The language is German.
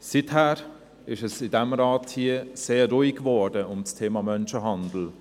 Seither ist es in diesem Rat sehr ruhig geworden um das Thema Menschenhandel.